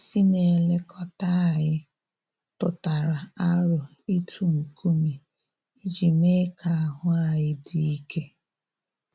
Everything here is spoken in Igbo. Onye isi na-elekọta anyị tụtara aro ịtụ nkume iji mee ka ahụ anyị dị ike